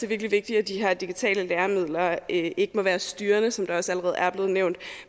virkelig vigtigt at de her digitale læremidler ikke må være styrende som det også allerede er blevet nævnt